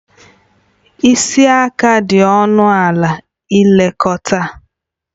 Isi aka dị ọnụ ala ilekọta